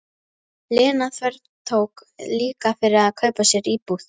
Lena þvertók líka fyrir að kaupa sér íbúð.